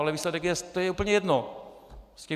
Ale výsledek je - to je úplně jedno.